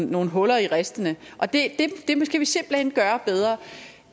nogle huller i ristene og det skal vi simpelt hen gøre bedre